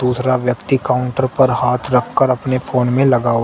दूसरा व्यक्ति काउंटर पर हाथ रखकर अपने फोन में लगा हुआ--